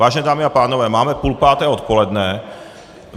Vážené dámy a pánové, máme půl páté odpoledne.